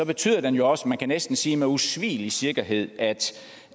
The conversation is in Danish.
betyder den jo også man kan næsten sige med usvigelig sikkerhed at